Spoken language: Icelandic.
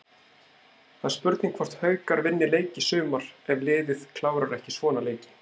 Það er spurning hvort Haukar vinni leik í sumar ef liðið klárar ekki svona leiki.